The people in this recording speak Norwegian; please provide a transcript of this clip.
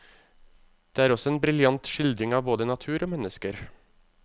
Det er også en briljant skildring av både natur og mennesker.